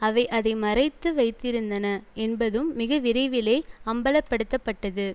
அவை அதை மறைத்து வைத்திருந்தன என்பதும் மிகவிரைவிலே அம்பலப் படுத்தப்பட்டது